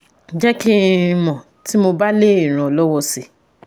Jẹ́ kí n mọ̀ tí mo bá lè ràn ọ́ lọ́wọ́ si